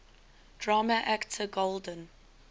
drama actor golden